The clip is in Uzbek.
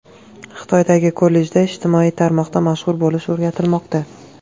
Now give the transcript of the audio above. Xitoydagi kollejda ijtimoiy tarmoqda mashhur bo‘lish o‘rgatilmoqda.